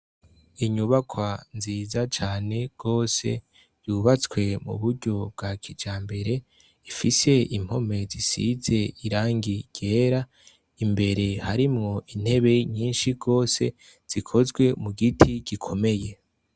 Inyubakwa nziza cane gose y' ubatse mu buryo bwakijambere, ifis' impome zisiz' irangi ryera n' amadirish' abiri maremare yinjiz' umuco, imbere harimw' intebe nyinshi cane gose zikozwe mu giti gikomeye.